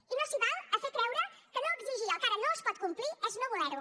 i no s’hi val a fer creure que no exigir el que ara no es pot complir és no voler ho